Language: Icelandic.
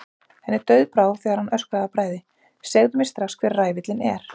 Henni dauðbrá þegar hann öskraði af bræði: Segðu mér strax hver ræfillinn er.